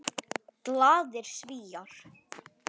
Glaðir Svíar.